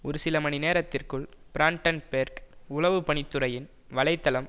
ஒரு சில மணி நேரத்திற்குள் பிரான்டன்பேர்க் உளவு பணி துறையின் வலை தளம்